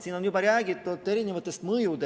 Siin on juba räägitud erinevatest mõjudest.